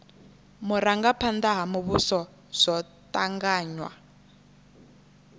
vhurangaphanda ha muvhuso zwo tanganywa